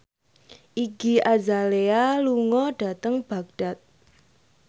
Iggy Azalea lunga dhateng Baghdad